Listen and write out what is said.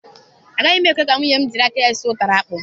Agaghị m ekwe ka nwunye m jiri áká ya sụọ ụtara akpụ.